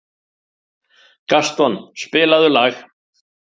Gaston, spilaðu lag.